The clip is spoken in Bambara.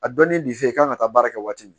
A dɔnnin de f'e ye i kan ka taa baara kɛ waati min